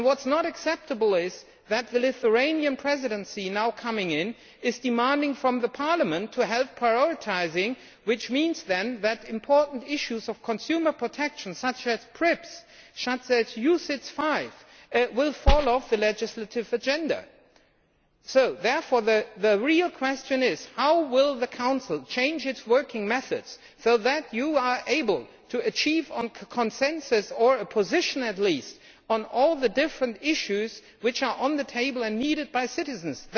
It is not acceptable that the Lithuanian Presidency now coming in is demanding help from Parliament in prioritising, which means that important issues of consumer protection such as UCITS V, PRIPS, ICS will fall off the legislative agenda. Therefore, the real question is how will the Council change its working methods so that you are able to achieve consensus or a position at least on all the different issues which are on the table and needed by citizens.